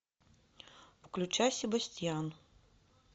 включай себастьян